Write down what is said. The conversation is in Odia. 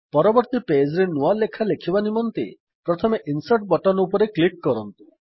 ପରବର୍ତ୍ତୀ pageରେ ନୂଆ ଲେଖା ଲେଖିବା ନିମନ୍ତେ ପ୍ରଥମେ ଇନସର୍ଟ ବଟନ ଉପରେ କ୍ଲିକ୍ କରନ୍ତୁ